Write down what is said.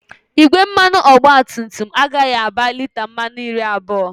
Igbe mmanụ ụgbọala ọgbatumtum agaghị aba lita mmanụ iri abụọ